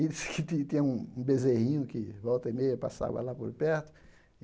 E diz que ti tinha um bezerrinho que volta e meia passava lá por perto.